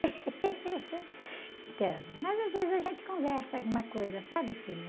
Então, mas às vezes a gente conversa alguma coisa, sabe, filho?